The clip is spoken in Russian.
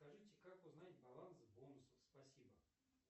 скажите как узнать баланс бонусов спасибо